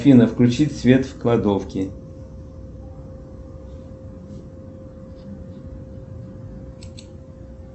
афина включи свет в кладовке